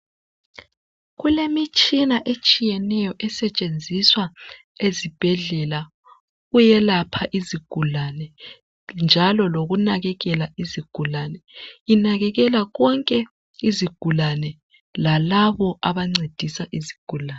Kulemitshina etshiyeneyo esetshenziswa ezibhedlela ukuyelapha izigullane, njalo lokunakekela izigulane. Inakekela konke izigulane. Lalabo, abancedisa izigulane.